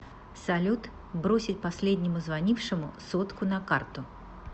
салют бросить последнему звонившему сотку на карту